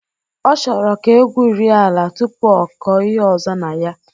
Ọ chọrọ ka egwurie ala tụpụ akọ ihe ọzọ na ya